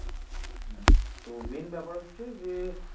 হম তো main ব্যাপার হচ্ছে যে